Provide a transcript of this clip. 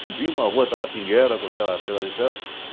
Subimos a rua Tabatinguera com aquela peça de ferro.